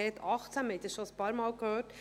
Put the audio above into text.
Wir haben dies schon ein paarmal gehört.